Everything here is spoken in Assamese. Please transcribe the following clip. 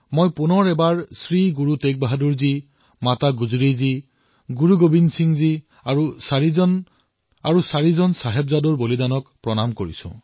পুনৰবাৰ মই শ্ৰী গুৰু টেগ বাহাদুৰ জী মাতা গুজৰী জী গুৰু গোৱিন্দ সিংজী আৰু চাৰিওজন চাহিবজাদা শ্বহীদক প্ৰণাম কৰিছো